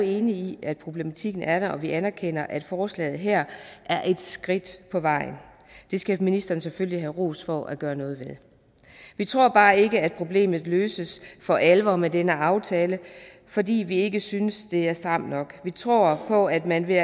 enige i at problematikken er der og vi anerkender at forslaget her er et skridt på vejen og det skal ministeren selvfølgelig have ros for at gøre noget ved vi tror bare ikke at problemet løses for alvor med denne aftale fordi vi ikke synes det er stramt nok vi tror på at man ved